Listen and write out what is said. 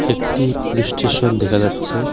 একটি police station দেখা যাচ্ছে।